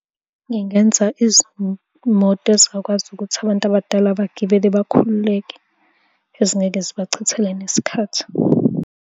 Ngingenza izimoto ezingakwazi ukuthi abantu abadala bagibele bakhululeke, ezingeke zibachithele nesikhathi.